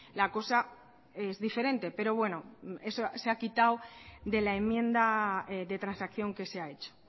la cosa es diferente pero bueno se ha quitado de la enmienda de transacción que se ha hecho